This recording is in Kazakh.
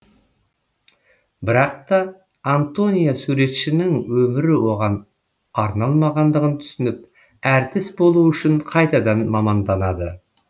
бірақ та антония суретшінің өмірі оған арналмағандығын түсініп әртіс болу үшін қайтадан маманданады